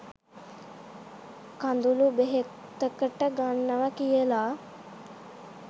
කඳුළු බෙහෙතකට ගන්නව කියල